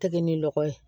Tɛgɛ ni lɔgɔ ye